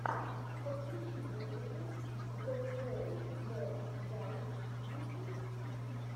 подключи музыка зе слоу мо гайз ютьюб